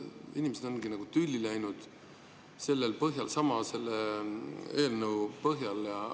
Inimesed ongi nagu tülli läinud selle põhjal, selle eelnõu põhjal.